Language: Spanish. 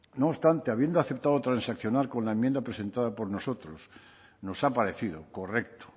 no obstante habiendo aceptado transaccionar con la enmienda presentada por nosotros nos ha parecido correcto